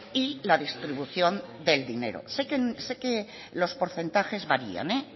y la distribución del dinero sé que los porcentajes varían